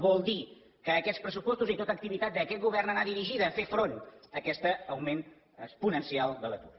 vol dir que aquests pressupostos i tota activitat d’aquest govern ha d’anar dirigida a fer front a aquest augment exponencial de l’atur